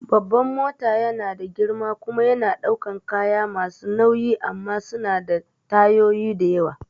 Babban mota yana da girma kuma yana ɗaukan kaya masu nauyi amma suna da tayoyi da yawa